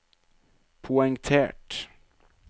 poengtert